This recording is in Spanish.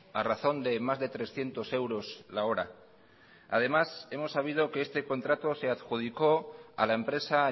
a razón de más de trescientos euros la hora además hemos sabido que este contrato se adjudicó a la empresa